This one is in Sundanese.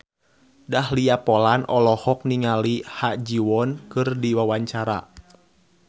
Dahlia Poland olohok ningali Ha Ji Won keur diwawancara